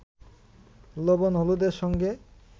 লবণ-হলুদের সঙ্গে